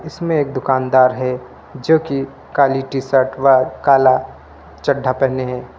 इसमें एक दुकानदार है जो की काली टी शर्ट व काला चढ्ढा पेहने हैं।